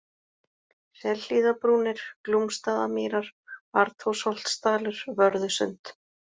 Selhlíðarbrúnir, Glúmsstaðamýrar, Arnþórsholtsdalur, Vörðusund